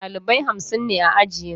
Ɗalibai hamsin ne a ajina.